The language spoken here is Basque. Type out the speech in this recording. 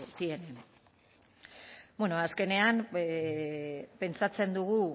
tienen bueno azkenean pentsatzen dugu